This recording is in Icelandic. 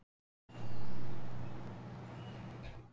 Þegar Sæmundur finnur að henni er þetta kappsmál staulast hann fram.